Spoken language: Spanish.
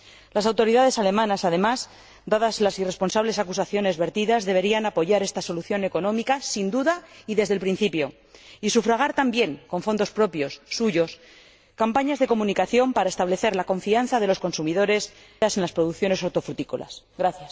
Las autoridades alemanas, además, dadas las irresponsables acusaciones vertidas, deberían apoyar esta solución económica, sin duda, y desde el principio, y sufragar también, con fondos propios, suyos, campañas de comunicación para restablecer la confianza de los consumidores en las producciones hortofrutícolas, ahora perdida.